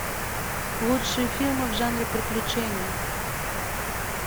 лучшие фильмы в жанре приключения